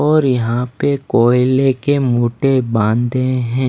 और यहाँ पे कोयले के मोटे बांदे हैं।